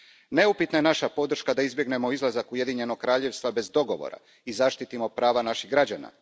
Neupitna je naša podrška da izbjegnemo izlazak Ujedinjenog Kraljevstva bez dogovora i zaštitimo prava naših građana.